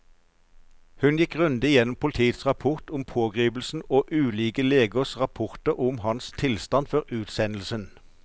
Hun gikk grundig gjennom politiets rapport om pågripelsen og ulike legers rapporter om hans tilstand før utsendelsen.